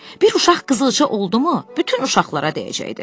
Bir uşaq qızılca oldumu, bütün uşaqlara dəyəcəkdi.